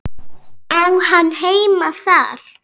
Á hann heima þar?